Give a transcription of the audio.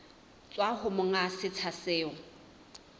tswa ho monga setsha seo